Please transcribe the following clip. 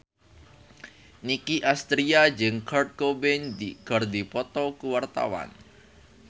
Nicky Astria jeung Kurt Cobain keur dipoto ku wartawan